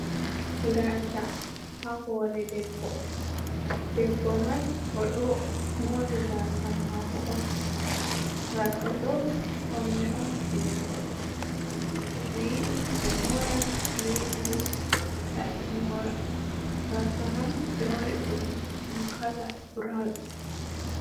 Gasa ha hore debbo, debbo man oɗo mori gasa mako on, gasa ɗo faune'on je robe, toɓe yiɗi ɓe mora toɓe yiɗi bo ta ɓe mora gasa man ɓe waɗa ɗum kala burawun.